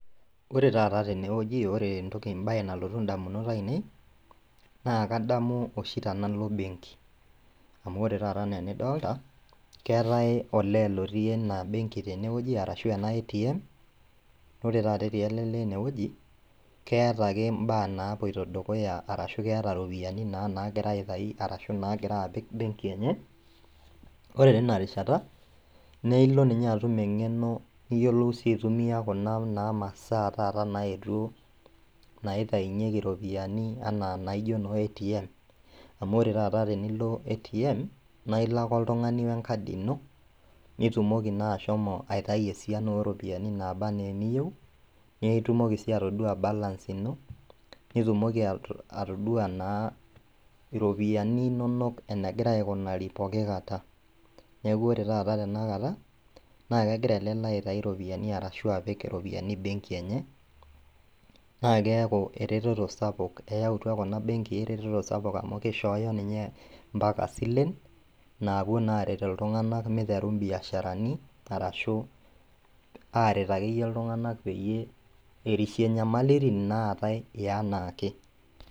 Ore tata tenewueji ore entoki, embaye nalotu indamunot ainei naakadamu oshi tenalo  benki. Amu ore tata anaa enidolta keetai olee otii ena benki tenewueji arashu ena  ATM, naore tata etii ele lee enewueji keetake imbaa napuoito dukuya arashu keeta iropiani naa nagira aitai arashu naagira apik benki enye. Ore tinarishata neeilo ninye atum eng'eno niyiolou sii aitumia kuna naa masaa tata naetuo naitainyeki iropiani anaa naijo noo  ATM. Amu ore tata tenilo ATM naailo ake oltung'ani oenkadi ino, nitumoki naa ashomo aitayu esiana oropiani naa naaba anaa eniyou neeitumoki sii atoduaa balance ino nitumoki atoduaa naa iropiani inonok enegira aikunari poki kata. Neaku ore tata tenakata naakegira ele lee aitai iropiani arashu apik iropiani benki enye naakeaku eretoto sapuk eyautua kuna benkii eretoto sapuk amu keishooyo ninye mpaka silen naapuo naaret iltung'anak meiteru imbiasharani arashu aaret akeyie iltung'anak peyie erishie inyamalitin naatai eanaake.